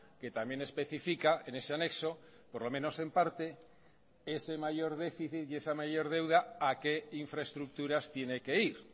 que también especifica en ese anexo por lo menos en parte ese mayor déficit y esa mayor deuda a qué infraestructuras tiene que ir